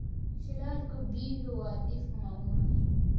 Shilalka biyuhu waa dhif maalmahan.